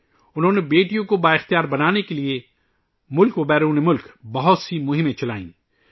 انہوں نے بیٹیوں کو بااختیار بنانے کے لئے ملک اور بیرون ملک بہت سی مہمیں چلائیں